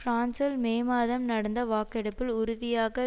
பிரான்சில் மே மாதம் நடந்த வாக்கெடுப்பில் உறுதியாக